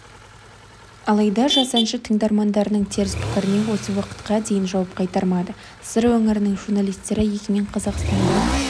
алайда жас әнші тыңдармандарының теріс пікіріне осы уақытқа дейін жауап қайтармады сыр өңірінің журналистері егемен қазақстанда